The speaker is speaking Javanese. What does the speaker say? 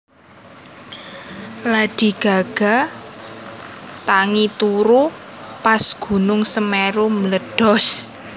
Lady Gaga lagi tangi turu pas gunung Semeru mbledhos